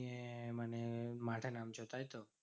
ইয়ে মানে মাঠে নামছো, তাইতো?